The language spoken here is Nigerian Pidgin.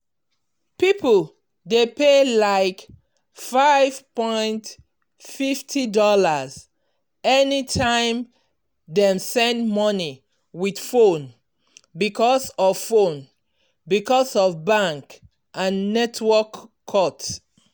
people dey pay like five point fifty dollars anytime dem send money with phone because of phone because of bank and network cut.